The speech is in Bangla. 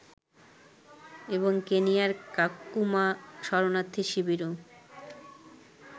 এবং কেনিয়ার কাকুমা শরণার্থী শিবিরও